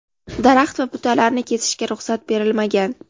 daraxt va butalarni kesishga ruxsat berilmagan.